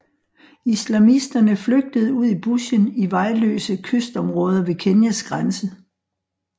Islamisterne flygtede ud i bushen i vejløse kystområder ved Kenyas grænse